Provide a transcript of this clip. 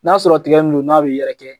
N'a sɔrɔ tigɛ min no n'a bi yɛrɛ kɛ